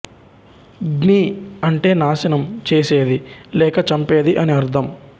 ఘ్ని అంటే నాశనం చేసేది లేక చంపేది అని అర్థం